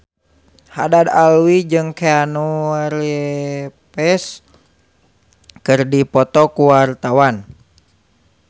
Haddad Alwi jeung Keanu Reeves keur dipoto ku wartawan